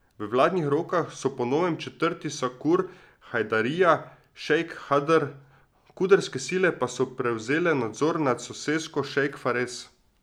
V vladnih rokah so po novem četrti Sakur, Hajdarija, Šejk Hadr, kurdske sile pa so prevzele nadzor nad sosesko Šejk Fares.